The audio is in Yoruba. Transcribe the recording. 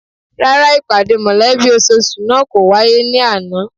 Rárá, ìpàdé mọ̀lẹ́bí ososù náà kò wáyé ní àná